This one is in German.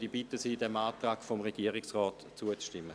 Ich bitte Sie, diesem Antrag des Regierungsrates zu folgen.